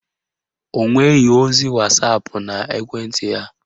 Ọ nweghị ozi wasapụ n'ekwenti ya.